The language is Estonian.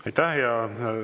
Aitäh!